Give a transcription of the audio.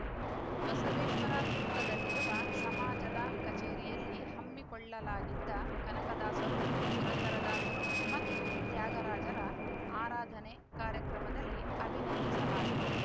ಬಸವೇಶ್ವರ ವೃತ್ತದಲ್ಲಿರುವ ಸಮಾಜದ ಕಚೇರಿಯಲ್ಲಿ ಹಮ್ಮಿಕೊಳ್ಳಲಾಗಿದ್ದ ಕನಕದಾಸರು ಪುರಂದರದಾಸರು ಮತ್ತು ತ್ಯಾಗರಾಜರ ಆರಾಧನೆ ಕಾರ್ಯಕ್ರಮದಲ್ಲಿ ಅಭಿನಂದಿಸಲಾಯಿತು